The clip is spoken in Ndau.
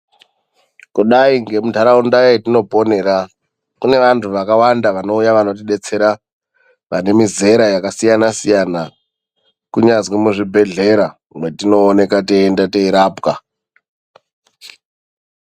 Kudai ngemunharaunda yetinoponera kune vantu vakawanda vanouya vanotidetsera vane mizera yakasiyana siyana ,kunyazwi muzvibhehlera mwetinooneka teienda teirapwa.